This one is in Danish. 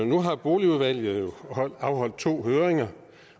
nu har boligudvalget jo afholdt to høringer